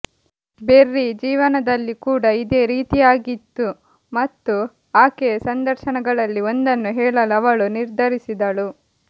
berry ಜೀವನದಲ್ಲಿ ಕೂಡ ಇದೇ ರೀತಿಯಾಗಿತ್ತು ಮತ್ತು ಆಕೆಯ ಸಂದರ್ಶನಗಳಲ್ಲಿ ಒಂದನ್ನು ಹೇಳಲು ಅವಳು ನಿರ್ಧರಿಸಿದಳು